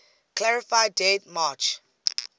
clarify date march